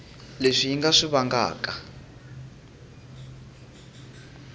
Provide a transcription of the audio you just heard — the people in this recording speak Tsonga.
leswi yi nga swi vangaka